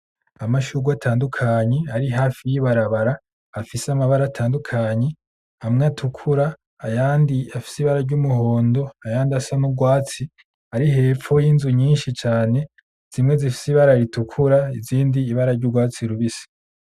Amashurwe atandukanye ari hafi y'ibarabara. Afise amabara atandukanye, amwe atukura, ayandi afise ibara ry'umuhondo, ayandi asa n'urwatsi ari hepfo y'inzu nyinshi cane zimwe zifise ibara ritukura, izindi ibara ry'urwatsi rubisi.